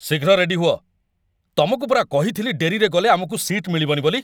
ଶୀଘ୍ର ରେଡି ହୁଅ! ତମକୁ ପରା କହିଥିଲି ଡେରିରେ ଗଲେ ଆମକୁ ସିଟ୍ ମିଳିବନି ବୋଲି!